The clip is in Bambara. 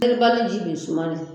peribali ji be suma de